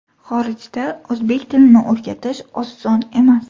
Xorijda o‘zbek tilini o‘rgatish oson emas.